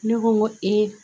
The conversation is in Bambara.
Ne ko n ko